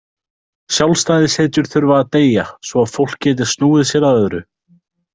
Sjálfstæðishetjur þurfa að deyja svo að fólk geti snúið sér að öðru.